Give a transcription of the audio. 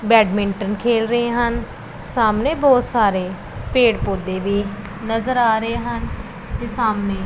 badminton ਖੇਲ ਰਹੇ ਹਨ ਸਾਹਮਣੇ ਬਹੁਤ ਸਾਰੇ ਪੇੜ ਪੌਧੇ ਵੀ ਨਜ਼ਰ ਆ ਰਹੇ ਹਨ ਤੇ ਸਾਹਮਣੇ--